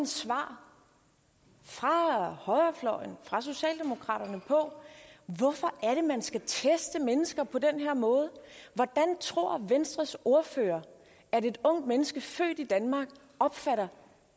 svar fra højrefløjen fra socialdemokraterne på hvorfor er at man skal teste mennesker på den her måde hvordan tror venstres ordfører at et ungt menneske født i danmark opfatter